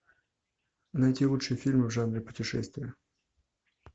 найти лучшие фильмы в жанре путешествия